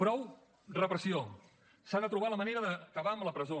prou repressió s’ha de trobar la manera d’acabar amb la presó